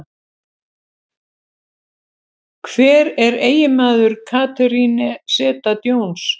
Hver er eiginmaður Catherine Zeta-Jones?